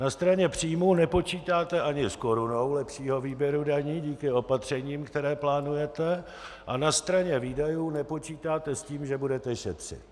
Na straně příjmů nepočítáte ani s korunou lepšího výběru daní díky opatřením, která plánujete, a na straně výdajů nepočítáte s tím, že budete šetřit.